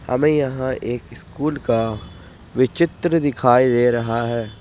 हमें यहां एक स्कूल का विचित्र दिखाई दे रहा है।